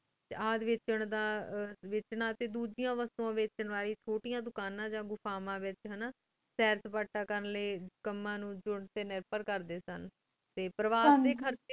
ਯਾਦ ਵਿਚਂ ਦਾ ਵੇਚਣਾ ਟੀ ਦੋਜੇਯਾਂ ਵਾਸ੍ਤੇਯਾਂ ਵੇਸ੍ਤੇਯਾਂ ਵਚਨ ਵਾਰੀ ਚੁਤੇਯਨ ਦੁਕਾਨਾ ਯਾ ਦੁਫਾਮਾਂ ਵੇਚ ਹਾਨਾ ਸਰ ਸਪਾਟਾ ਕਰਨ ਲੈ ਕਮਾ ਨੂ ਚੁਣ ਕੀ ਨਪੇਰ ਕਰ ਤਾ ਦੇਤੀ ਸਨ ਟੀ ਪਰਿਵਾਰ ਟੀ ਖੇਰ੍ਚ੍ਯ